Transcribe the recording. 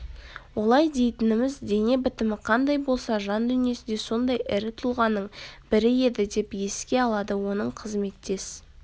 олай дейтініміз дене бітімі қандай болса жан-дүниесі де сондай ірі тұлғаның бірі еді деп еске алады оның қызметтес